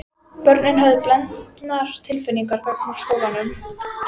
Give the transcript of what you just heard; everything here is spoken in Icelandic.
Börnin höfðu blendnar tilfinningar gagnvart skólanum.